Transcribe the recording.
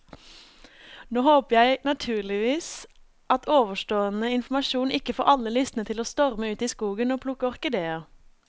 Nå håper jeg naturligvis at ovenstående informasjon ikke får alle lystne til å storme ut i skogen og plukke orkideer.